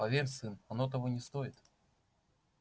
поверь сын оно того не стоит